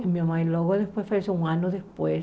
Minha mãe logo depois faleceu, um ano depois.